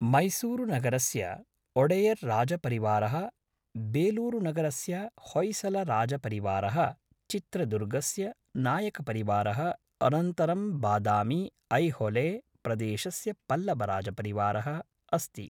मैसूरुनगरस्य ओडेयर् राजपरिवारः बेलूरुनगरस्य होय्सलराजपरिवारः चित्रदुर्गस्य नायकपरिवारः अनन्तरं बादामि ऐहोले प्रदेशस्य पल्लवराजपरिवारः अस्ति